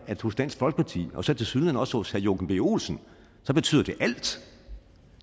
at hos dansk folkeparti og tilsyneladende også hos herre joachim b olsen betyder det alt